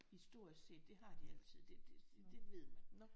Historisk set det har de altid det det ved man